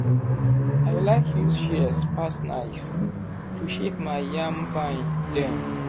i like use shears pass knife to shape my yam vine dem.